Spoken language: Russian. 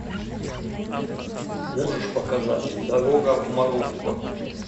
можешь показать дорога в марокко